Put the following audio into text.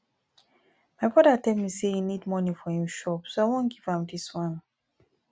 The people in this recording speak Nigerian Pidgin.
my brother tell me say he need money for im shop so i wan give am dis one